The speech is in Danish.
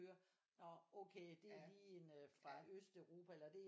Høre nå okay det er lige en fra Østeuropa eller det